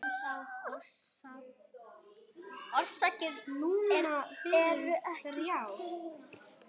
Orsakir eru ekki kunnar.